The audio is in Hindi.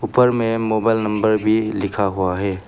उपर मे मोबाइल नंबर भी लिखा हुआ है।